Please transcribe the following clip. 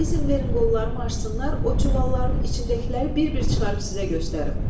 İzin verin qollarımı açsınlar, o çuvalların içindəkiləri bir-bir çıxarıb sizə göstərim.